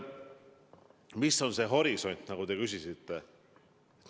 Milline on horisont, nagu te küsisite?